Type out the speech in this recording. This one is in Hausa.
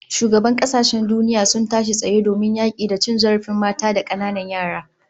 Shugabannin kasashen duniya sun tashi tsaye domin yaki da cin zarafin mata da kananan yara